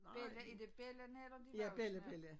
Bella er det bellarne eller de voksne?